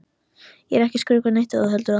Ég er ekkert að skrökva neitt ef þú heldur það.